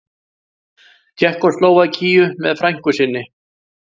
Tékkóslóvakíu með frænku sinni.